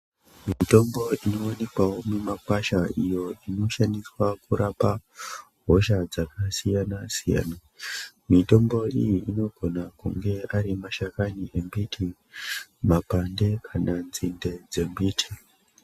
Mitombo iyo inowanikwawo mumakwasha iyo inoshandiswa kurapa hosha dzakasiyana siyana. Mitombo iyi ikone kunge ari mashakani embiti, mapande kana nzinde dzemiti.